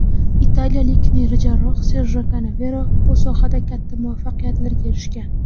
Italiyalik neyrojarroh Serjo Kanavero bu sohada katta muvaffaqiyatlarga erishgan.